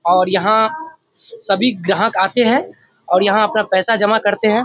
और यहाँ स सभी ग्राहक आते हैं और यहाँ अपना पैसा जमा करते हैं।